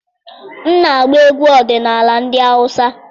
M na-agba egwu ọdịnala ndị Hausa.